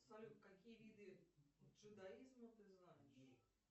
салют какие виды джудаизма ты знаешь